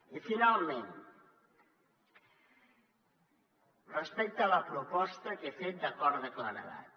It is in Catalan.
i finalment respecte a la proposta que he fet d’acord de claredat